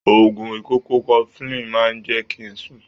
Oògùn ikọ́ cofflin máa ń jẹ́ kí ń sùn.